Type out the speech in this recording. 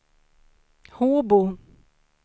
Håbo